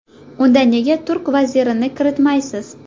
Unda nega turk vazirini kiritmaysiz?.